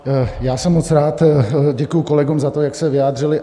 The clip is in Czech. Já jsem moc rád, děkuji kolegům za to, jak se vyjádřili.